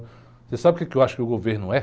Você sabe o que eu acho que o governo é?